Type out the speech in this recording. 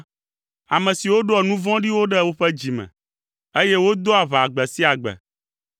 ame siwo ɖoa nu vɔ̃ɖiwo ɖe woƒe dzi me, eye wodoa aʋa gbe sia gbe.